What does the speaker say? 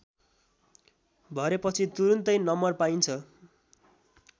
भरेपछि तुरुन्तै नम्बर पाइन्छ